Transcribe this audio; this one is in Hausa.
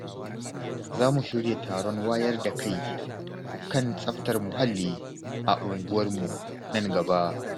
Za mu shirya taron wayar da kai kan tsaftar muhalli a unguwarmu nan gaba.